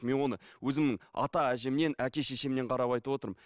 мен оны өзімнің ата әжемнен әке шешемнен қарап айтып отырмын